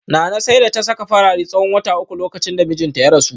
Nana sai da ta saka farare tsawon wata uku lokacin da mijinta ya rasu